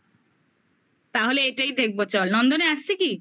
তাহলে এটাই দেখবো চল নন্দনে আসছে কি?